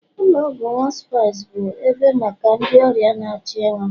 ụlọ ọgwụ hospice bụ ebe maka ndị ọrịa na-achọ ịnwụ